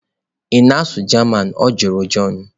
"Ị na-asụ German? Ọ jụrụ john"